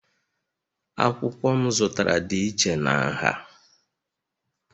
Akwụkwọ m zụtara dị iche na nha